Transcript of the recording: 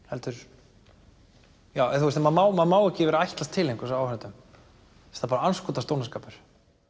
heldur maður má maður má ekki vera að ætlast til einhvers af áhorfendum það er andskotans dónaskapur